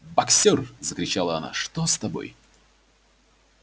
боксёр закричала она что с тобой